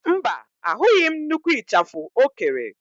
Mba, ahụghị m nnukwu ịchafụ o kere.